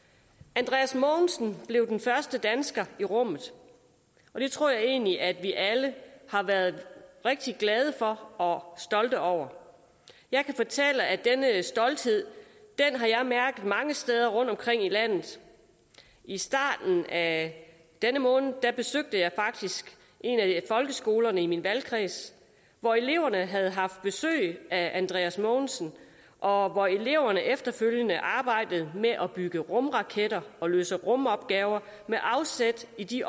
andreas mogensen blev den første dansker i rummet og det tror jeg egentlig at vi alle har været rigtig glade for og stolte over jeg kan fortælle at denne stolthed har jeg mærket mange steder rundtomkring i landet i starten af denne måned besøgte jeg faktisk en af folkeskolerne i min valgkreds hvor eleverne havde haft besøg af andreas mogensen og hvor eleverne efterfølgende arbejdede med at bygge rumraketter og løse rumopgaver med afsæt i de